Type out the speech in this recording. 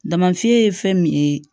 Damafiɲɛ ye fɛn min ye